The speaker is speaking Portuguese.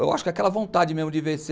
Eu acho que é aquela vontade mesmo de vencer.